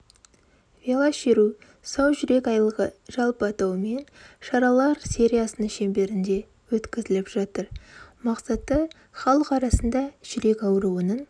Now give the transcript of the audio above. велошеру сау жүрек айлығы жалпы атауымен шаралар сериясының шеңберінде өткізіліп жатыр мақсаты халық арасында жүрек ауруының